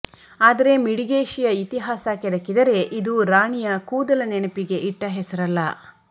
ಆದರೆ ಮಿಡಿಗೇಶಿಯ ಇತಿಹಾಸ ಕೆದಕಿದರೆ ಇದು ರಾಣಿಯ ಕೂದಲ ನೆನಪಿಗೆ ಇಟ್ಟ ಹೆಸರಲ್ಲ